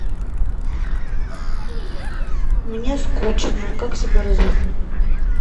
мне скучно как себя развеселить